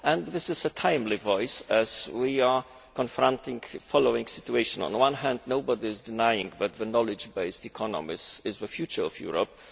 It is a timely voice, as we are confronted with the following situation. On the one hand, nobody is denying that the knowledge based economy is the future of Europe.